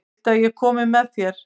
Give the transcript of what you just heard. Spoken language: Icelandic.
Viltu að ég komi með þér?